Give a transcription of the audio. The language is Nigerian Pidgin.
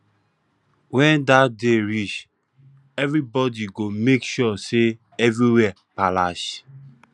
wen dat day reach evribody go make sure say everywhere palash